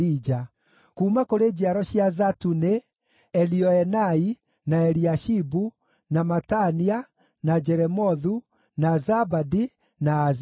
Kuuma kũrĩ njiaro cia Zatu nĩ: Elioenai, na Eliashibu, na Matania, na Jeremothu, na Zabadi, na Aziza.